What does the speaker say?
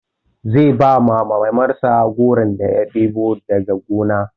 Zai ba Mamansa goron da ya ɗebo daga gona.